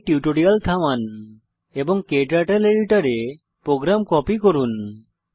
এখানে টিউটোরিয়াল থামান এবং ক্টার্টল এডিটর এ প্রোগ্রাম কপি করুন